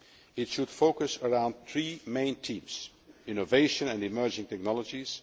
It should focus on three main themes innovation and emerging technologies